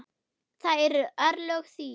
Það eru örlög þín.